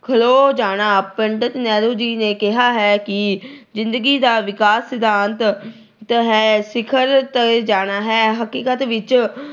ਖਲੋ ਜਾਣਾ। ਪੰਡਿਤ ਨਹਿਰੂ ਜੀ ਨੇ ਕਿਹਾ ਹੈ ਕਿ ਜਿੰਦਗੀ ਦਾ ਵਿਕਾਸ ਸਿਧਾਂਤ ਹੈ- ਸਿਖਰ ਤੇ ਜਾਣਾ ਹੈ। ਹਕੀਕਤ ਵਿੱਚ